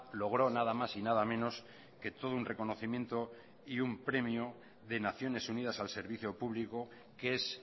logró nada más y nada menos que todo un reconocimiento y un premio de naciones unidas al servicio público que es